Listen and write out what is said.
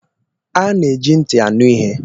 A na-eji ntị anụ ihe.